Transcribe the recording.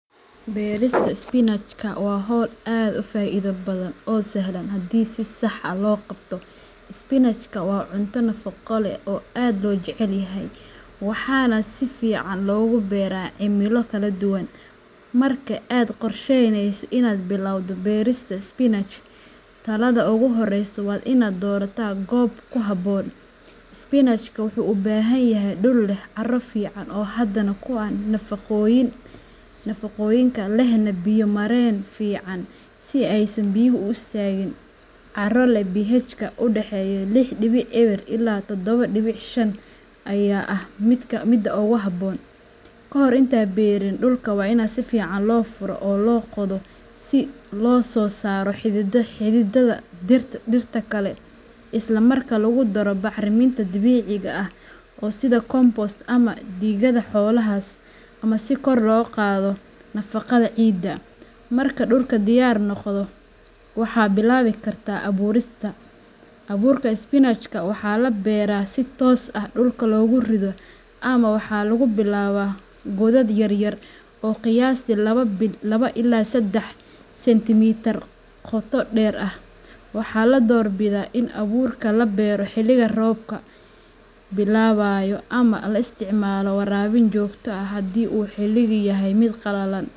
Beerista spinachka waa hawl aad u faa'iido badan oo sahlan haddii si sax ah loo qabto. Spinachka waa cunto nafaqo leh oo aad loo jecel yahay, waxaana si fiican loogu beeraa cimilo kala duwan. Marka aad qorshaynayso inaad bilowdo beerista spinachka, talaabada ugu horreysa waa inaad doorato goob ku habboon. Spinachka wuxuu u baahan yahay dhul leh carro fiican oo hodan ku ah nafaqooyinka, lehna biyo mareen fiican si aysan biyuhu u istaagin. Carro leh pHka u dhexeeya lix dibic eber ilaa todoba dibic shan ayaa ah midda ugu habboon. Kahor intaadan beeri, dhulka waa in si fiican loo furaa oo loo qodo si loosoo saaro xididada dhirta kale, isla markaana lagu daro bacriminta dabiiciga ah sida compost ama digada xoolaha si kor loogu qaado nafaqada ciidda. Marka dhulku diyaar noqdo, waxaad bilaabi kartaa abuurista. Abuurka spinachka waxaa la beeraa si toos ah dhulka loogu rido ama waxaa lagu bilaabaa godad yaryar oo qiyaastii laba ila sedex sentimitar qoto dheer ah. Waxaa la doorbidaa in abuurka la beero xilliga roobka bilaabayo ama la isticmaalo waraabin joogto ah haddii uu xilligu yahay mid qallalan.